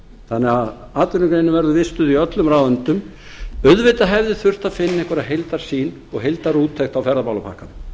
þannig að atvinnugreinin verður vistuð í öllum ráðuneytum auðvitað hefði þurft að finna einhverjar heildarsýn og heildarúttekt á ferðamálapakkanum